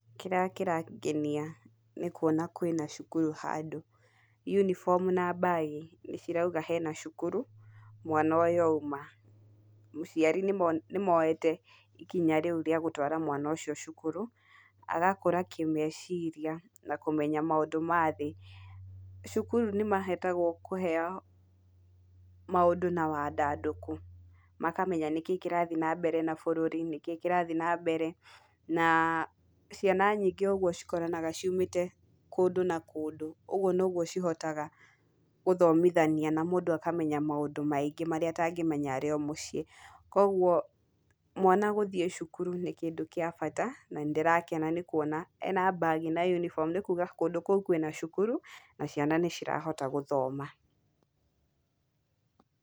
Kĩrĩa kĩrangenia nĩkuona, kwĩna cukuru handũ unibomũ na mbagi nĩ cirauga hena cukuru, mwana ũyũ auma, mũciari nĩ moete ikinya rĩu rĩa gũtwara mwana ũcio cukuru, agakũra kĩmeciria, na kũmenya maũndũ mathĩĩ, cukuru nĩ mahotaga kũheo maũndũ na wadandũku makamenya nĩkĩ kĩrathiĩ na mbere na bũrũri , nĩkĩ kĩrathiĩ na mbere na ciana nyingĩ cikoranaga ciũmĩte kũndũ na kũndũ, ũguo noguo cihotaga gũthomithania na mũndũ akamenya maũndũ maingĩ marĩa atangĩmenya arĩo mũciĩ, kwoguo mwana gũthiĩ cukuru nĩ kĩndũ gĩa bata na nĩndĩrakena nĩkuona mbagi na unibomũ nĩkuuga kũndũ kũu kwĩna cukuru na ciana nĩcirahota gũthoma.